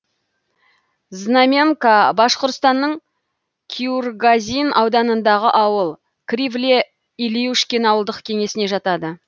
знаменка башқұртстанның куюргазин ауданындағы ауыл кривле илюшкин ауылдық кеңесіне жатады